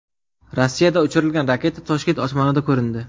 Rossiyada uchirilgan raketa Toshkent osmonida ko‘rindi.